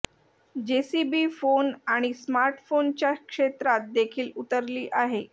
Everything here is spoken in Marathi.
जेसीबी फोन आणि स्मार्ट फोन च्या क्षेत्रात देखील उतरली आहे